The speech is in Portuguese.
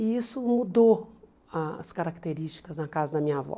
E isso mudou as características na casa da minha avó.